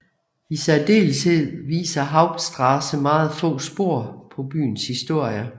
I særdeleshed viser Haupstraße meget få spor på byens historie